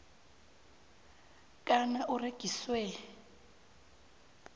kana u rengiswa